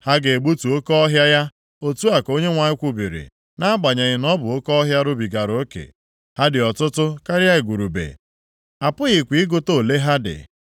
Ha ga-egbutu oke ọhịa ya,” otu a ka Onyenwe anyị kwubiri, “nʼagbanyeghị na ọ bụ oke ọhịa rubigara oke. Ha dị ọtụtụ karịa igurube, a pụghịkwa ịgụta ole ha dị.